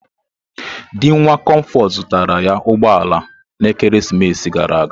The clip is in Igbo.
Di nwa Comforts zụtara ya ụgbọ ala na ekeresimesi gara aga.